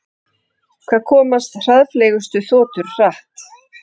Hvað komast hraðfleygustu þotur hratt?